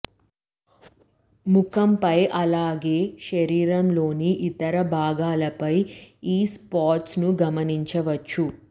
ముఖంపై అలాగే శరీరంలోని ఇతర భాగాలపై ఈ స్పాట్స్ ను గమనించవచ్చు